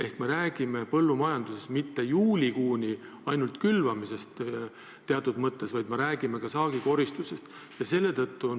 Ehk me räägime põllumajanduse puhul mitte juulikuust, st ainult külvamisest, vaid me räägime ka saagikoristusest.